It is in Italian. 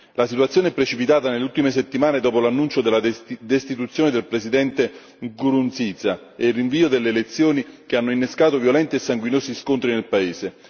La situazione è precipitata nelle ultime settimane dopo l'annuncio della destituzione del presidente Nkurunziza e il rinvio delle elezioni che hanno innescato violenti e sanguinosi scontri nel paese.